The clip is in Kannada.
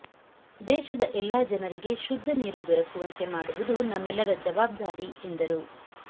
ದೇಶದ ಎಲ್ಲ ಜನರಿಗೆ ಶುದ್ಧ ನೀರು ದೊರಕುವಂತೆ ಮಾಡುವುದು ನಮ್ಮೆಲ್ಲರ ಜವಾಬ್ದಾರಿ ಎಂದರು